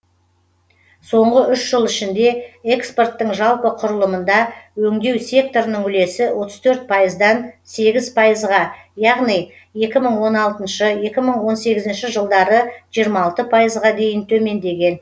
соңғы үш жыл ішінде экспорттың жалпы құрылымында өңдеу секторының үлесі отыз төрт пайыздан сегіз пайызға яғни екі мың он алтыншы екі мың он сегізінші жылдары жиырма алты пайызға дейін төмендеген